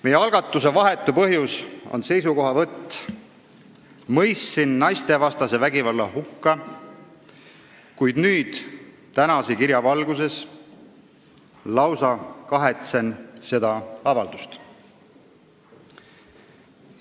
Meie algatuse vahetu põhjus on see seisukohavõtt: "Mõistsin naistevastase vägivalla hukka, kuid nüüd, tänase kirja valguses, lausa kahetsen seda avaldust.